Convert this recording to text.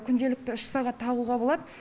күнделікті үш сағат тағуға болады